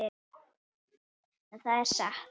En það er satt.